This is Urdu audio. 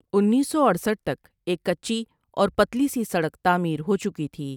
انیس سو اٹھسٹھ تک ایک کچی اور پتلی سی سڑک تعمیر ہو چکی تھی ۔